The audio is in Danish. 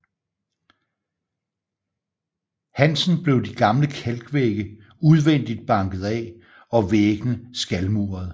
Hansen blev de gamle kalk vægge udvendigt banket af og væggene skalmuret